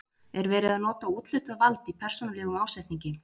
Er verið að nota úthlutað vald í persónulegum ásetningi?